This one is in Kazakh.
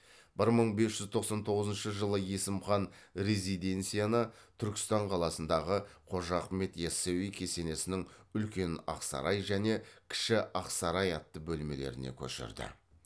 бір мың бес жүз тоқсан тоғызыншы жылы есім хан резиденцияны түркістан қаласындағы қожа ахмет ясауи кесенесінің үлкен ақсарай және кіші ақсарай атты бөлмелеріне көшірді